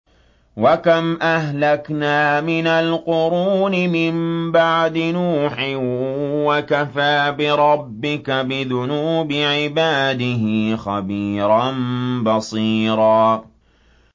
وَكَمْ أَهْلَكْنَا مِنَ الْقُرُونِ مِن بَعْدِ نُوحٍ ۗ وَكَفَىٰ بِرَبِّكَ بِذُنُوبِ عِبَادِهِ خَبِيرًا بَصِيرًا